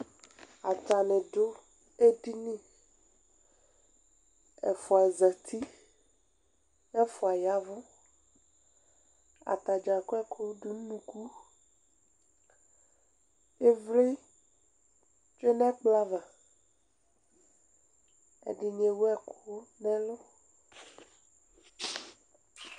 Atani dʋ edini ɛfʋa zati kʋ ɛfʋa ya ɛvʋ atadza akɔ ɛkʋ dʋnʋ ʋnʋkʋ ivli tsue nʋ ɛkplɔ ava ɛdini ewʋ ɛkʋ nʋ ɛlʋ